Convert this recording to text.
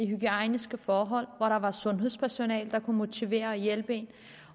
hygiejniske forhold hvor der var sundhedspersonale der kunne motivere og hjælpe en